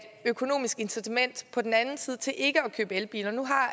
økonomisk incitament på den anden side til ikke at købe elbiler nu har